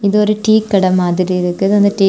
இது ஒரு டீ கடை மாதிரி இருக்குது. அந்த டீ .